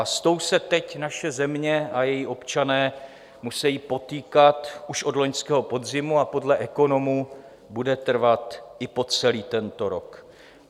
A s tou se teď naše země a její občané musejí potýkat už od loňského podzimu a podle ekonomů bude trvat i po celý tento rok.